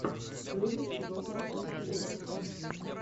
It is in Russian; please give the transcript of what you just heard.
дэвид добрик ту